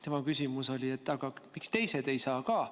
Tema küsimus oli, miks teised ka bussi ei saa.